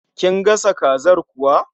Kin gasa kazar kuwa?